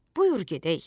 Buyur gedək.